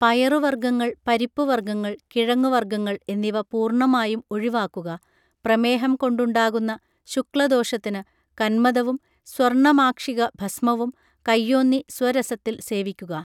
പയറുവർഗങ്ങൾ പരിപ്പുവർഗങ്ങൾ കിഴങ്ങുവർഗങ്ങൾ എന്നിവ പൂർണമായും ഒഴിവാക്കുക പ്രമേഹം കൊണ്ടുണ്ടാകുന്ന ശുക്ല ദോഷത്തിനു കന്മദവും സ്വർണമാക്ഷിക ഭസ്മവും കൈയ്യോന്നി സ്വരസത്തിൽ സേവിക്കുക